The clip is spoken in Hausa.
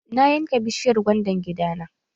Na yanka bishiyar gwaiban gida na.